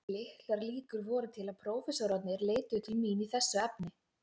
Litlar líkur voru til að prófessorarnir leituðu til mín í þessu efni.